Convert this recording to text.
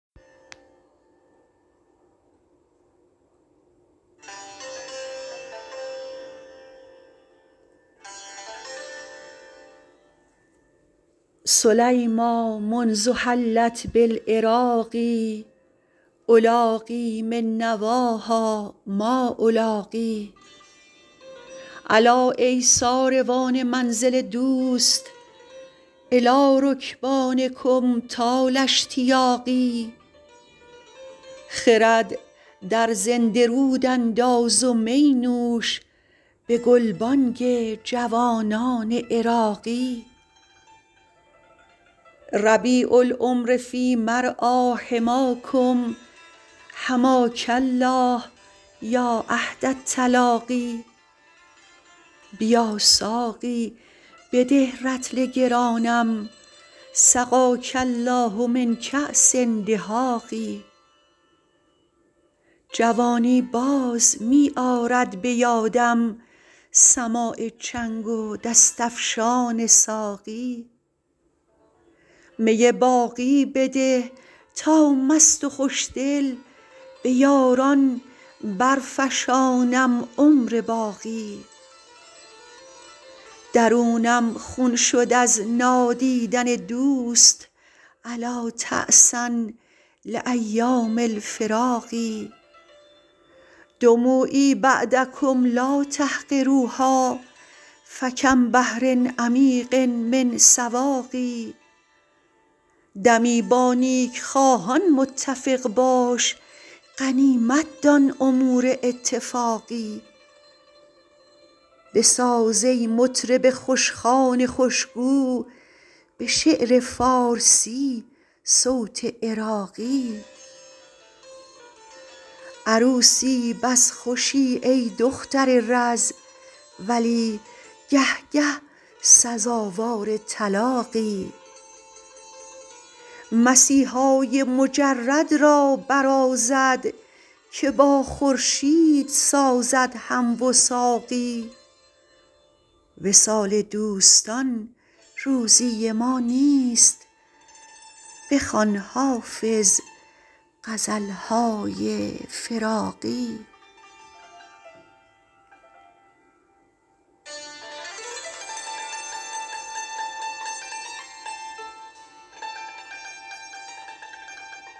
سلیمیٰ منذ حلت بالعراق ألاقی من نواها ما ألاقی الا ای ساروان منزل دوست إلی رکبانکم طال اشتیاقی خرد در زنده رود انداز و می نوش به گلبانگ جوانان عراقی ربیع العمر فی مرعیٰ حماکم حماک الله یا عهد التلاقی بیا ساقی بده رطل گرانم سقاک الله من کأس دهاق جوانی باز می آرد به یادم سماع چنگ و دست افشان ساقی می باقی بده تا مست و خوشدل به یاران برفشانم عمر باقی درونم خون شد از نادیدن دوست ألا تعسا لأیام الفراق دموعی بعدکم لا تحقروها فکم بحر عمیق من سواق دمی با نیکخواهان متفق باش غنیمت دان امور اتفاقی بساز ای مطرب خوشخوان خوشگو به شعر فارسی صوت عراقی عروسی بس خوشی ای دختر رز ولی گه گه سزاوار طلاقی مسیحای مجرد را برازد که با خورشید سازد هم وثاقی وصال دوستان روزی ما نیست بخوان حافظ غزل های فراقی